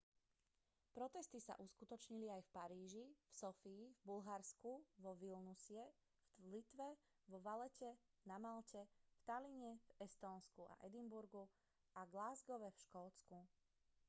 protesty sa uskutočnili aj v paríži v sofii v bulharsku vo vilniuse v litve vo valette na malte v talline v estónsku a edinburghu a glasgowe v škótsku